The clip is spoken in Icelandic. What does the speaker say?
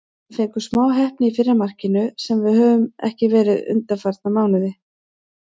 Við fengum smá heppni í fyrra markinu, sem við höfum ekki verið undanfarna mánuði.